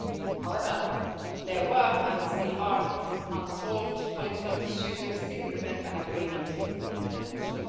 However, there were and still are unsolved political issues which still prevent an agreement in the Council.